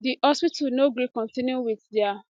di hospital no gree kontinu wit dia